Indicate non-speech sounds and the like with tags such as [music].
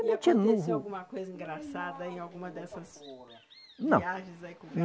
E aconteceu alguma coisa engraçada em alguma dessas. Não. Viagens aí? [unintelligible]